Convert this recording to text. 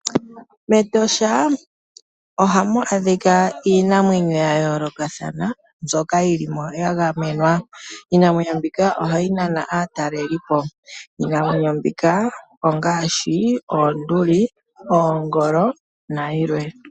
MEtosha ohamu adhika iinamwenyo ya yoolokathana, mbyoka yilimo ya gamenwa. Iinamwenyo mbika ohayi nana aatalelipo. Iinamwenyo mbika ongaashi, oonduli, oongolo, nayilwe.